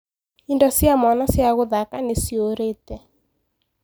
Indo cia mwana cia gũthaka nĩciũrĩte.